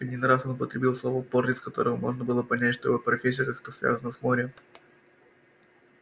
один раз он употребил слово порт из которого можно было понять что его профессия как-то связана с морем